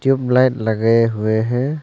Black लगाए हुए हैं।